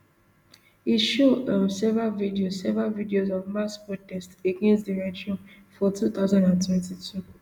e show um several videos several videos of mass protests against di regime for two thousand and twenty-two